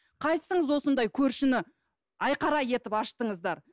қайсыңыз осындай көршіні айқара етіп аштыңыздар